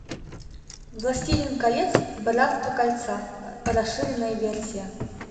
властелин колец братство кольца расширенная версия